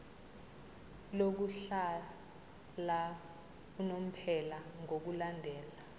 lokuhlala unomphela ngokulandela